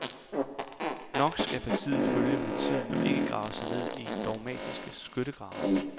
Nok skal partiet følge med tiden og ikke grave sig ned i dogmatiske skyttegrave.